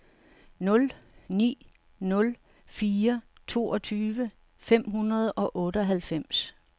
nul ni nul fire toogtyve fem hundrede og otteoghalvfems